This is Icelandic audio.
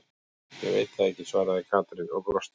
Ég veit það ekki svaraði Katrín og brosti.